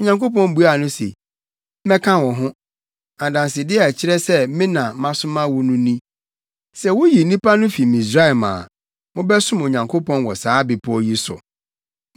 Onyankopɔn buaa no se, “Mɛka wo ho. Adansede a ɛkyerɛ sɛ me na masoma wo no ni. Sɛ wuyi nnipa no fi Misraim a, mobɛsom Onyankopɔn wɔ saa bepɔw yi so.”